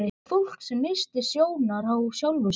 Fólki sem missti sjónar á sjálfu sér.